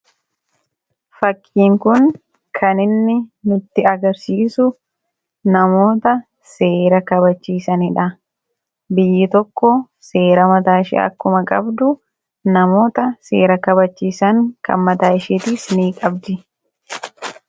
fakkiin kun kaninni nutti agarsiisu namoota seera kabachiisaniidha biyyi tokko seera mataashie akkuma qabdu namoota seera kabachiisan kan mataa ishee tiis ni qabdi